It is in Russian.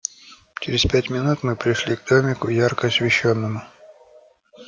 через пять минут мы пришли к домику ярко освещённому